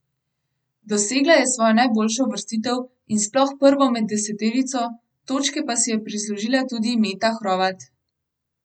Dosegla je svojo najboljšo uvrstitev in sploh prvo med deseterico, točke pa si je prislužila tudi Meta Hrovat.